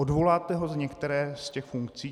Odvoláte ho z některé z těch funkcí?